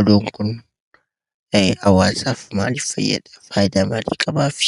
Oduun kun hawaasaf maalif faayyadaa? Faayidaa maali qabaafi?